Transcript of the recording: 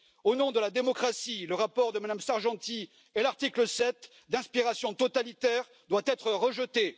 Au nom de la démocratie, le rapport de Mme Sargentini et l'article 7, d'inspiration totalitaire, doivent être rejetés.